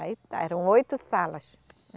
Aí eram oito salas.